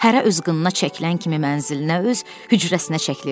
Hərə öz qınına çəkilən kimi mənzilinə öz hücrəsinə çəkilir.